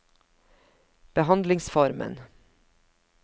behandlingsformen